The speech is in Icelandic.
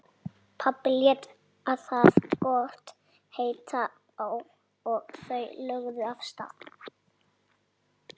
Pabbi lét það gott heita og þau lögðu af stað.